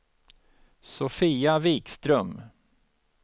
Sofia Vikström